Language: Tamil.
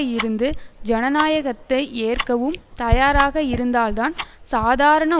இருந்து ஜனயாயகத்தை ஏற்கவும் தயாராக இருந்தால்தான் சாதாரண